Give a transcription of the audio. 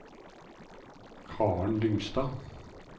Karen Lyngstad